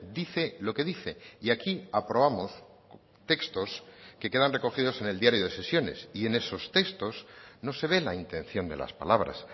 dice lo que dice y aquí aprobamos textos que quedan recogidos en el diario de sesiones y en esos textos no se ve la intención de las palabras